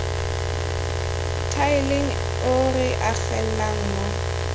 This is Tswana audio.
tiileng o re agelelang mo